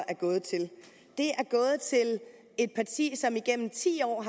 er gået til et parti som igennem ti år